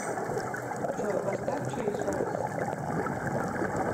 джой поставь чейс райс